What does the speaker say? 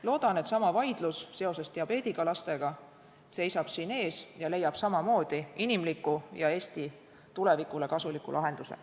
Loodan, et sama vaidlus diabeedidiagnoosiga laste teemal seisab siin ees ja leiab samamoodi inimliku ja Eesti tulevikule kasuliku lahenduse.